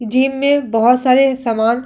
gym में बोहोत सारे सामान --